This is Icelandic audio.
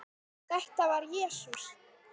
Þetta var Jesús